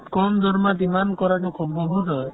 কম দৰমহাত ইমান কৰাতো সম্ভবো নহয়